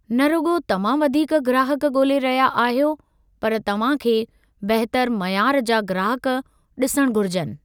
न रुॻो तव्हां वधीक ग्राहकु ॻोल्हे रहिया आहियो, पर तव्हां खे बहितर मयारु जा ग्राहकु ॾिसणु घुरिजनि।